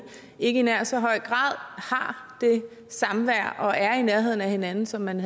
ikke i nær så høj grad har det samvær og er i nærheden af hinanden som man